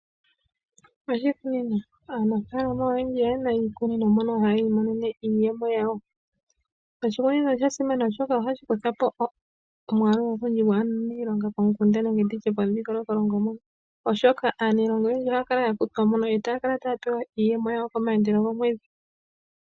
Oshikunino Aanafaalama oyendji oye na iikunino mono hayi imonene iiyemo yawo. Oshikunino osha simana, oshoka ohashi kutha po omwaalu ogundji gwaantu kaye na iilonga pomukunda nenge pomudhingoloko, oshoka aaniilonga oyendji ohaya kala ya kutwa mo e taya kala taya pewa iiyemo yawo komayandelo gomwedhi.